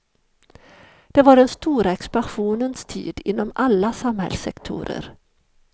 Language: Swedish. Det var den stora expansionens tid inom alla samhällssektorer.